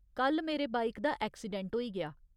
कल मेरे बाइक दा ऐक्सीडेंट होई गेआ।